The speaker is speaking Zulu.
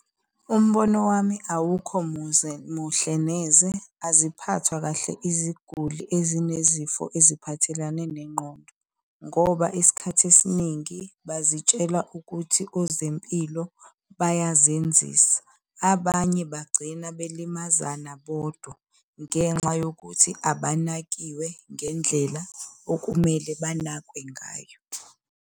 Umbono wami awukho muhle neze. Aziphathwa kahle iziguli ezinezifo eziphathelane nengqondo, ngoba isikhathi esiningi bazitshela ukuthi ozempilo bayazenzisa. Abanye bagcina belimazana bodwa ngenxa yokuthi abanakiwe ngendlela okumele banakwe ngayo.